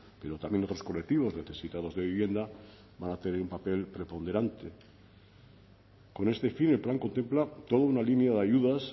pero también otros colectivos necesitados de vivienda van a tener un papel preponderante con este fin el plan contempla toda una línea de ayudas